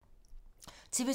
TV 2